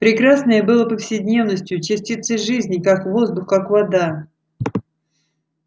прекрасное было повседневностью частицей жизни как воздух как вода